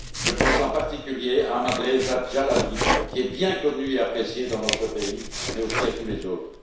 Je pense en particulier à Ahmad Reza Jalali, qui est bien connu et apprécié dans notre pays, mais aussi à tous les autres.